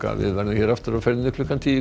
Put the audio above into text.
við verðum hér aftur á ferðinni klukkan tíu